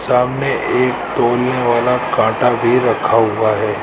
सामने एक तोलनें वाला काटा भी रखा हुआ हैं।